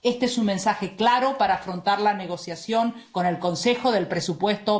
Este es un mensaje claro para afrontar la negociación con el Consejo del presupuesto